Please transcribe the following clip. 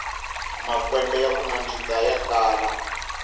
makwembe yaku nandzika ya kala